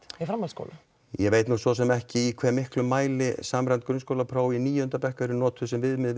í framhaldsskóla ég veit nú sosum ekki í hve miklu mæli samræmd grunnskólapróf í níunda bekk eru notuð sem viðmið